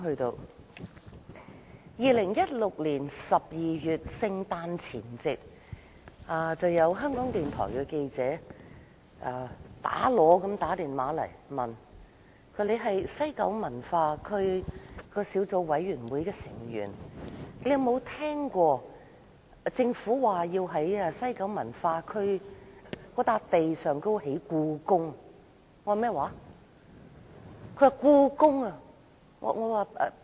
是2016年12月的聖誕前夕，香港電台記者很着急地致電給我，說："你是監察西九文化區計劃推行情況聯合小組委員會的委員，有否聽說過政府要在西九文化區的用地上興建故宮？